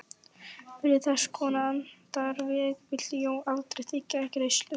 Fyrir þesskonar handarvik vildi Jón aldrei þiggja greiðslu.